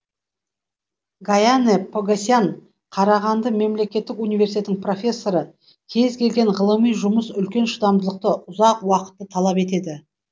гаянэ погосян қарағанды мемлекеттік университетінің профессоры кез келген ғылыми жұмыс үлкен шыдамдылықты ұзақ уақытты талап етеді